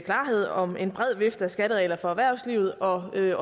klarhed om en bred vifte af skatteregler for erhvervslivet og at